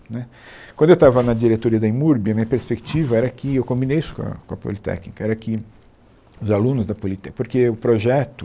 Né quando eu estava na diretoria da IMURB, a minha perspectiva era que, eu combinei isso com a com a Politécnica, era que os alunos da Politécnica, porque o projeto